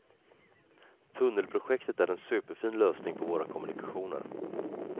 Tunnelprojektet är en superfin lösning på våra kommunikationer.